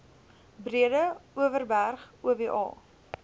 breede overberg oba